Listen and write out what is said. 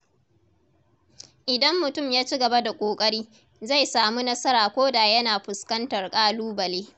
Idan mutum ya ci gaba da ƙoƙari, zai samu nasara koda yana fuskantar ƙalubale.